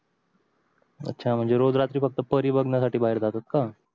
अच्छा म्हणजे रोज रात्री फक्त परी बघण्यासाठी बहार जातात का